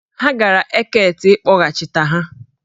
Ha gara Eket, kpọghachịta ha!